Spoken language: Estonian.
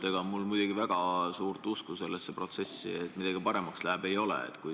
Ega mul muidugi väga suurt usku sellesse, et midagi paremaks läheb, ei ole.